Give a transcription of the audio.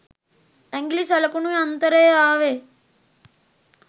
ඇගිලි සලකුණු යන්තරේ ආවෙ.